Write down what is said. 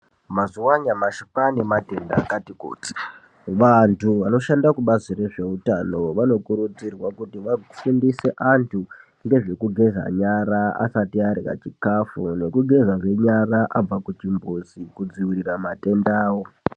Mazuwa anyamashi Kwaane matenda akati kuti .Vantu vanoshanda kubazi rezveutano ,vanokurudzirwa kuti vafundiswe antu ngezvekugeza nyara asati arya chikhafu, nekugezazve nyara abva kuchimbuzi, kudziirira matendawo.